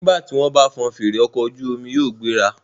Nígbà tí wọ́n bá fọn fèrè, ọkọ̀ ojú omi yóò gbéra.